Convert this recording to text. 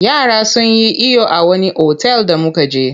Yara sun yi iyo a wani otal da muka je.